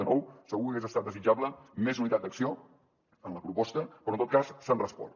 de nou segur que hagués estat desitjable més unitat d’acció en la proposta però en tot cas s’han respost